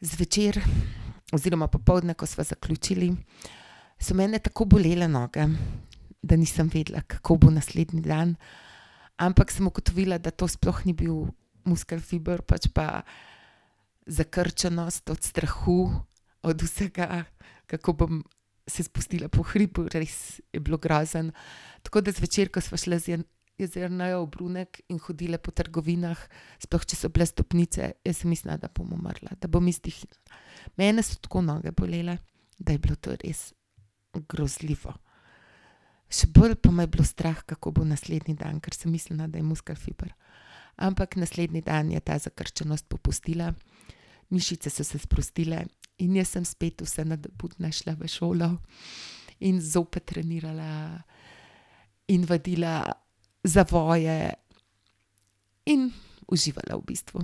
Zvečer oziroma popoldne, ko sva zaključili, so mene tako bolele noge, da nisem vedela, kako bo naslednji dan. Ampak sem ugotovila, da to sploh ni bil muskelfiber, pač pa zakrčenost od strahu, od vsega, kako bom se spustila po hribu, res je bilo grozno, tako da zvečer, ko sva šli z Jernejo v Brunek in hodili po trgovinah, sploh če so bile stopnice, jaz sem mislila, da bom umrla, da bom Mene so tako noge bolele, da je bilo to res grozljivo. Še bolj me je bilo pa strah, kako bo naslednji dan, ker sem mislila, da je muskelfiber. Ampak naslednji dan je ta zakrčenost popustila. Mišice so se sprostile in jaz sem spet vsa nadobudna šla v šolo in zopet trenirala in vadila zavoje in uživala v bistvu.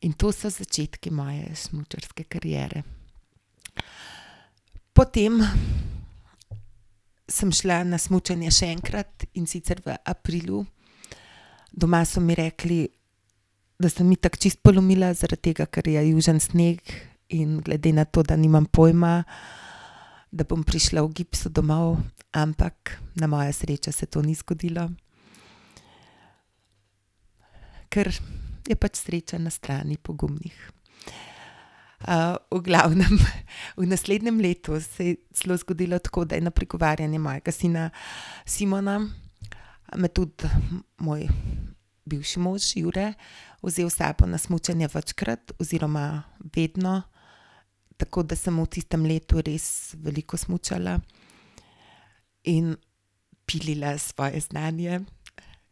In to so začetku moje smučarske kariere. Potem sem šla na smučanje še enkrat, in sicer v aprilu. Doma so mi rekli, da sem itak čisto polomila, zaradi tega, ker je južni sneg, in glede na to, da nimam pojma, da bom prišla v gipsu domov. Ampak na mojo srečo se to ni zgodilo, ker je pač sreča na strani pogumnih. v glavnem v naslednjem letu se je celo zgodilo tako, da je na pregovarjanje mojega sina Simona, me tudi moj bivši mož Jure vzel s sabo na smučanje večkrat oziroma vedno, tako da sem v tistem letu res veliko smučala. In pilila svoje znanje.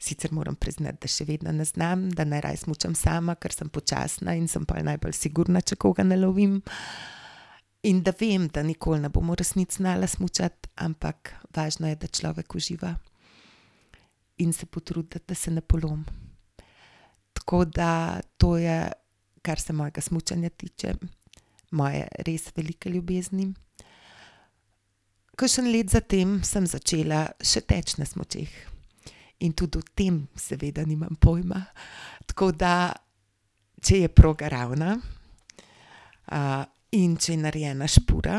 Sicer moram priznati, da še vedno ne znam, da najraje smučam sama, ker sem počasna in sem pol najbolj sigurna, če koga ne lovim. In da vem, da nikoli ne bom v resnici znala smučati, ampak važno je, da človek uživa. In se potrudi, da se ne polom. Tako da to je, kar se mojega smučanja tiče. Moje res velike ljubezni. Kakšno leto kasneje sem začela še teči na smučeh. In tudi v tem seveda nimam pojma, tako da če je proga ravna, in če je narejena špura,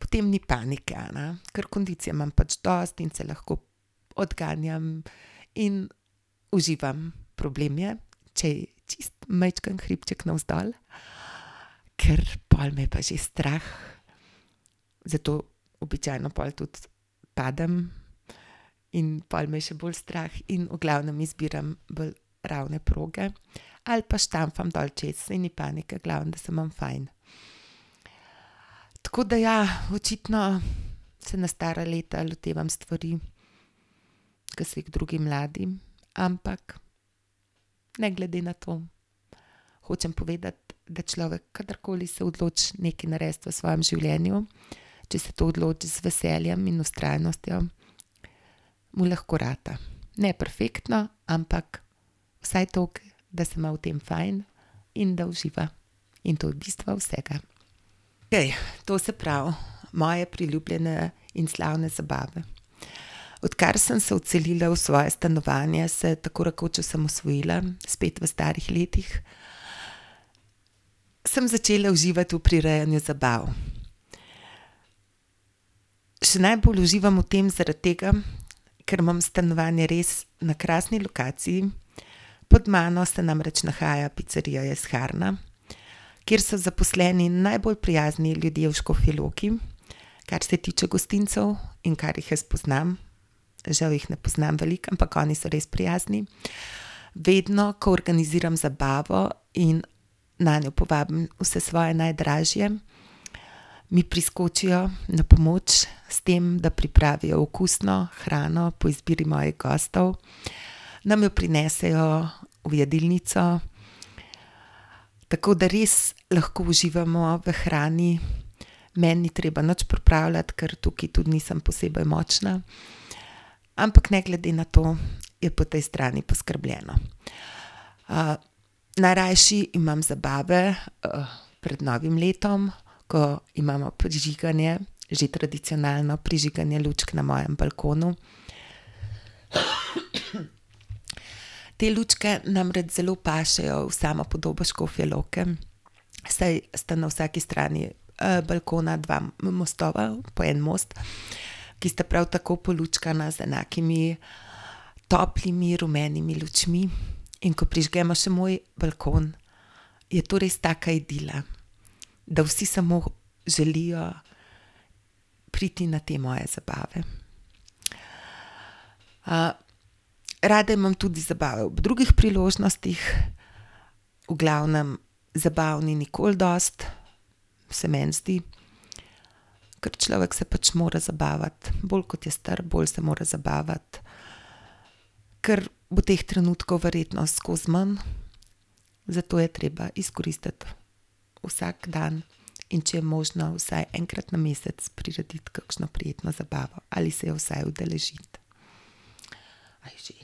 potem ni panike, a ne. Ker kondicije imam pač dosti in se lahko odganjam in uživam. Problem je, če je čisto majčken hribček navzdol, ker pol me je pa že strah, zato običajno pol tudi padem. In pol me je še bolj strah in v glavnem izbiram bolj ravne proge. Ali pa štamfam dol čez. Saj ni panike. Glavno, da se imam fajn. Tako da, ja, očitno se na stara leta lotevam stvari, ki se jih drugi mladi. Ampak ne glede na to hočem povedati, da človek kadarkoli se odloči nekaj narediti v svojem življenju, če se to odloči z veseljem in vztrajnostjo, mu lahko rata, ne perfektno, ampak vsaj toliko, da se ima v tem fajn in da uživa. In to je bistvo vsega. To se pravi, moje priljubljene in slavne zabave. Odkar sem se odselila v svoje stanovanje, se tako rekoč osamosvojila. Spet v starih letih. Sem začela uživati v prirejanju zabav. Še najbolj uživam v tem zaradi tega, ker imam stanovanje res na krasni lokaciji. Pod mano se namreč nahaja picerija Jesharna, kjer so zaposleni najbolj prijazni ljudje v Škofji Loki, kar se tiče gostincev in kar jih jaz poznam. Žal jih ne poznam veliko, ampak oni so res prijazni. Vedno, ko organiziram zabavo in nanjo povabim vse svoje najdražje, mi priskočijo na pomoč s tem, da pripravijo okusno hrano po izbiri mojih gostov, nam jo prinesejo v jedilnico, tako da res lahko uživamo v hrani. Meni ni treba nič pripravljati, ker tukaj tudi nisem posebej močna. Ampak ne glede na to, je po tej strani poskrbljeno. najrajši imam zabave, pred novim letom, ko imamo prižiganje. Že tradicionalno prižiganje lučk na mojem balkonu. Te lučke namreč zelo pašejo v samo podobo Škofje Loke, saj sta na vsaki strani, balkona dva mostova, po en most, ki sta prav tako polučkana z enakimi toplimi rumenimi lučmi. In ko prižgemo še moj balkon, je to res taka idila, da vsi samo želijo priti na te moje zabave. rada imam tudi zabave ob drugih priložnostih, v glavnem zabav ni nikoli dosti, se meni zdi. Ker človek se pač mora zabavati. Bolj kot je star, bolj se mora zabavati. Kar bo teh trenutkov verjetno skozi manj, zato je treba izkoristiti vsak dan. In če je možno vsaj enkrat na mesec prirediti kakšno prijetno zabavo ali se je vsaj udeležiti. A je že?